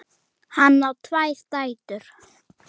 Hann á tvær dætur.